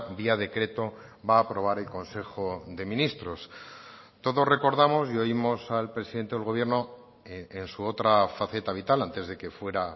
vía decreto va a aprobar el consejo de ministros todos recordamos y oímos al presidente del gobierno en su otra faceta vital antes de que fuera